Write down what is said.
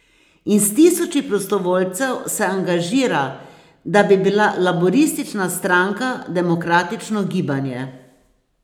In s tisoči prostovoljcev se angažira, da bi bila Laburistična stranka demokratično gibanje.